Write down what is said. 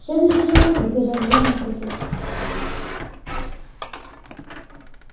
следуйте за мной приказал грозный профессор